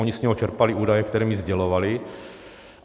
Oni z něj čerpali údaje, které mi sdělovali.